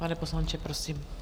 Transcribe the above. Pane poslanče, prosím.